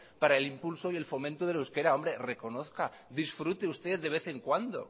para el impulso y el fomento del euskera reconozca disfrute usted de vez en cuando